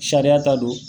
Sariya ta don